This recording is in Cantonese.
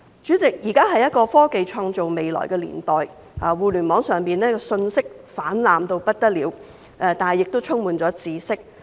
主席，現今是一個科技創造未來的年代，互聯網上的信息泛濫嚴重，但亦充滿了知識。